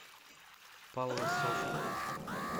палласовку